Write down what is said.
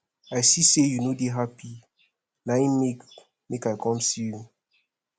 i see sey you no dey hapi na im make i com see you